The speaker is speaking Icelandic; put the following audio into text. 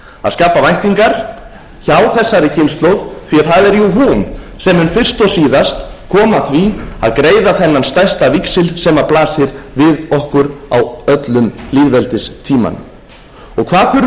að skapa væntingar hjá þessari kynslóð því að það er jú hún sem mun fyrst og síðast koma að því að greiða þennan stærsta víxil sem blasi við okkur á öllum lýðveldistímanum hvað þurfum við að gera til